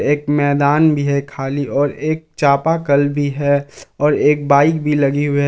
एक मैदान भी है खाली और एक चापाकल भी है और एक बाइक भी लगी हुई है।